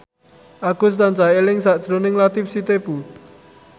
Agus tansah eling sakjroning Latief Sitepu